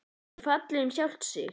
Er það ekki fallið um sjálft sig?